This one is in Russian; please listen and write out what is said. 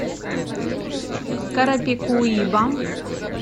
карапикуиба